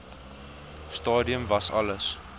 stadium was alles